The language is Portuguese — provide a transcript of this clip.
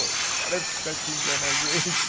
O cara fica xingando a gente.